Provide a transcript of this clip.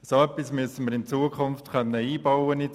So etwas müssen wir in Zukunft ins Gesetz einbauen können.